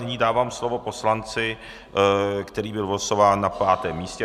Nyní dávám slovo poslanci, který byl vylosován na pátém místě.